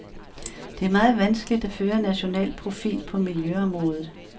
Det er meget vanskeligt at føre en national profil på miljøområdet.